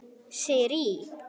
Sirrý